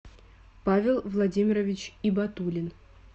павел владимирович ибатуллин